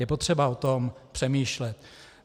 Je potřeba o tom přemýšlet.